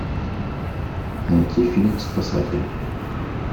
найти фильм спасатель